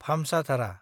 भामसाधारा